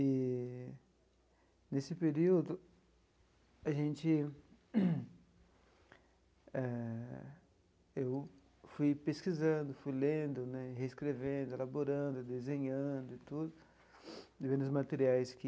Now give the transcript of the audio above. E, nesse período, a gente...eh eu fui pesquisando, fui lendo né, reescrevendo, elaborando, desenhando e tudo, vendo os materiais que...